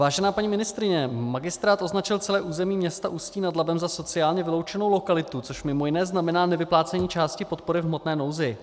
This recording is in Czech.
Vážená paní ministryně, magistrát označil celé území města Ústí nad Labem za sociálně vyloučenou lokalitu, což mimo jiné znamená nevyplácení části podpory v hmotné nouzi.